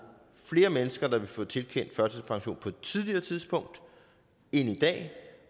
flere mennesker der vil få tilkendt førtidspension på et tidligere tidspunkt end i dag